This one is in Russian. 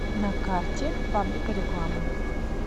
на карте фабрика рекламы